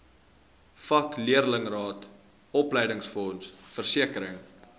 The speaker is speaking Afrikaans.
vakleerlingraad opleidingsfonds versekering